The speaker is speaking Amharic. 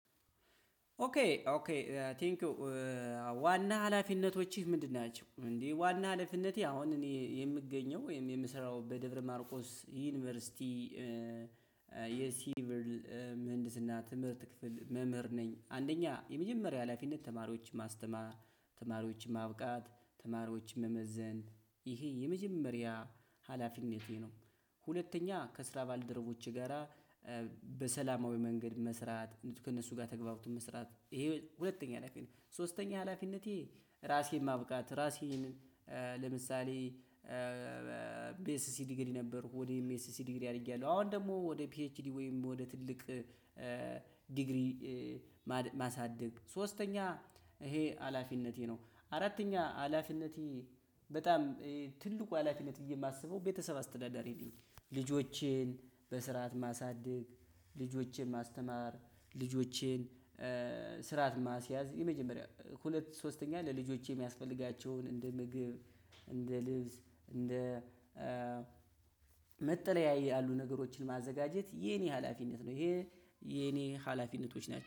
ኦኬ ኦኬ ቴንኪው ዋና ሀላፊነቶችህ ምንድን ናቸው? እንዴ ዋና ሀላፊነቴ አሁን እኔ የምገኘው ወይም የምሰራው በደብረማርቆስ ዩኒቨርሲቲ የሲቪል ምህንድስና ትምህርት ክፍል መምህር ነኝ አንደኛ የመጀመሪያ ሀላፊነት ተማሪዎች ማስተማር፣ ተማሪዎች ማብቃት ተማሪዎች መመዘን ይሄ የመጀመሪያ ሀላፊነቴ ነው። ሁለተኛ ከስራ ባልደረቦች ጋራ በሰላማዊ መንገድ መስራት ከእነሱ ጋር ተግባብቶ መስራት ይሄ ሁለተኛ ሀላፊት ነው። ሶስተኛ ሀላፊነቴ ራሴን ማብቃት ራሴን ለምሳሌ ቢኤስሲ ዲግሪ ነበርኩ ወዲህ ኤም ኤስሲ ዲግሪ አድርጌያለሁ። አሁን ደግሞ ወደ ፒኤችዲ ወይም ወደ ትልቅ ዲግሪ ማሳደግ ሶስተኛ ይሄ ሀላፊነቴ ነው። አራተኛ ሀላፊነቴ በጣም ትልቁ ሀላፊነት ብዬ የማስበው ቤተሰብ አስተዳዳሪ ነኝ። ልጆቼን በስርዓት ማሳደግ ልጆቼን ማስተማር፣ ልጆቼን ስርዓት ማስያዝ የመጀመሪያው ሁለት ሶስተኛ ለልጆቼ የሚያስፈልጋቸውን እንደ ምግብ እንደ ልብስ እንደ መጠለያ ያሉ ነገሮችን ማዘጋጀት የኔ ሀላፊነት ነው ይሄ የኔ ሀላፊነቶች ናቸው።